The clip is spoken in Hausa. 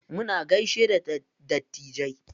Muna gaishe da dattijai.